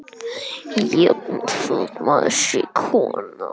Jafnvel þótt maður sé kona.